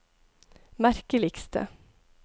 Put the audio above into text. merkeligste